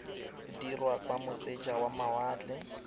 dirwa kwa moseja wa mawatle